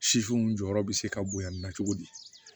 Sisiw jɔyɔrɔ be se ka bonya nin na cogo di